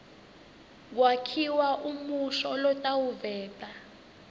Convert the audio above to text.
kwakhiwa umusho lotawuveta